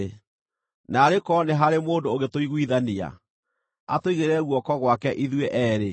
Naarĩ korwo nĩ harĩ mũndũ ũngĩtũiguithania, atũigĩrĩre guoko gwake ithuĩ eerĩ,